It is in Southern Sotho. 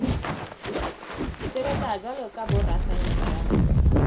sebetsa jwalo ka borasaense ba